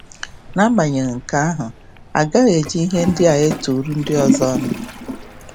N’agbanyeghị nke ahụ, agaghị eji ihe ndị a eturu ndị ọzọ ọnụ